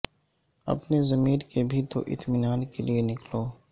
اپنے ضمیر کے بھی تو اطمینان کے لیے نکلو